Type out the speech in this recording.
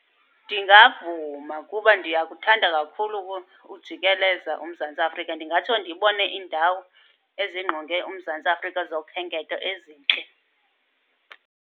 Ndingavuma kuba ndiyakuthanda kakhulu ujikeleza uMzantsi Afrika. Ndingatsho ndibone iindawo ezingqonge uMzantsi Afrika zokhenketho ezintle.